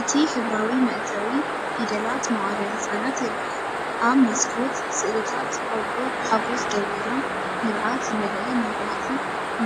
እቲ ሕብራዊ መእተዊ “ፊደላት መዋእለ ህጻናት” ይረአ። ኣብ መስኮት፡ ስእልታት ቈልዑ ብሓጐስ ደው ኢሎም፡ ንብዓት ዝመልአ መብራህቲ